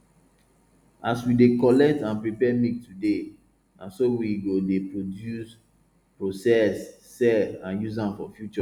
as we dey collect and prepare milk today na so we go dey produce process sell and use am for future